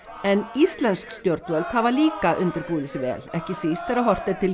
en íslensk stjórnvöld hafa líka undirbúið sig vel ekki síst þegar horft er til